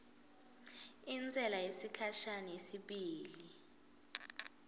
intsela yesikhashana yesibili